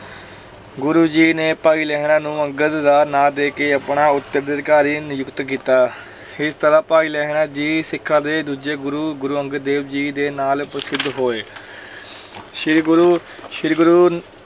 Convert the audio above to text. ਗੁਰੂ ਜੀ ਨੇ ਭਾਈ ਲਹਿਣਾ ਨੂੰ ਅੰਗਦ ਦਾ ਨਾਂ ਦੇ ਕੇ ਆਪਣਾ ਉੱਤਰਾਧਿਕਾਰੀ ਨਿੱਯੁਕਤ ਕੀਤਾ ਇਸ ਤਰ੍ਹਾਂ ਭਾਈ ਲਹਿਣਾ ਜੀ ਸਿੱਖਾਂ ਦੇ ਦੂਜੇ ਗੁਰੂ, ਗੁਰੂ ਅੰਗਦ ਦੇਵ ਜੀ ਦੇ ਨਾਲ ਪ੍ਰਸਿੱਧ ਹੋਏ ਸ੍ਰੀ ਗੁਰੂ ਸ੍ਰੀ ਗੁਰੂ